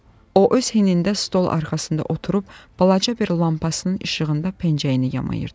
O öz hinində stol arxasında oturub balaca bir lampasının işığında pencəyini yamayırdı.